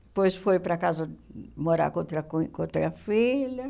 Depois foi para casa morar com outra com com outra filha.